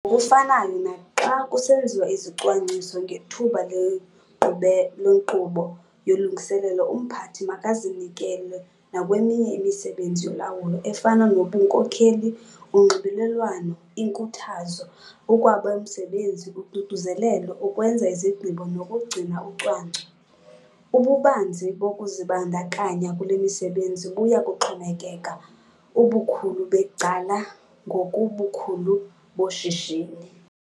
Ngokufanayo naxa kusenziwa izicwangciso, ngethuba lenkqubo yolungiselelo umphathi makazinikele nakweminye imisebenzi yolawulo efana nobunkokeli, unxibelelwano, inkuthazo, ukwaba umsebenzi, uququzelelo, ukwenza izigqibo nokugcina ucwangco. Ububanzi bokuzibandakanya kule misebenzi buya kuxhomekeka ubukhulu becala ngokobukhulu beshishini.